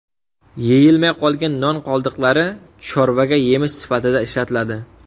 Yeyilmay qolgan non qoldiqlari chorvaga yemish sifatida ishlatiladi.